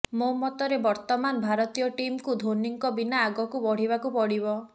ମୋ ମତରେ ବର୍ତ୍ତମାନ ଭାରତୀୟ ଟିମକୁ ଧୋନିଙ୍କ ବିନା ଆଗକୁ ବଢ଼ିବାକୁ ପଡିବ